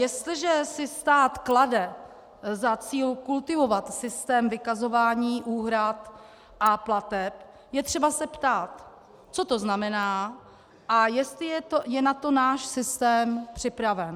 Jestliže si stát klade za cíl kultivovat systém vykazování úhrad a plateb, je třeba se ptát, co to znamená a jestli je na to náš systém připraven.